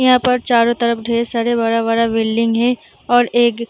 यहाँ पर चारो तरफ ढ़ेर सारे बड़ा-बड़ा बिल्डिंग है और एग --